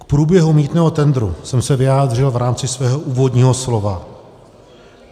K průběhu mýtného tendru jsem se vyjádřil v rámci svého úvodního slova.